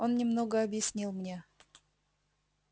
он немного объяснил мне